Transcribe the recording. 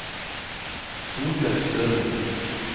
Solbjørg Sørlie